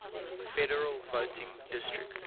federal voting district